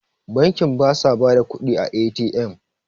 bankin ba sa ba da kudi a A.T.M?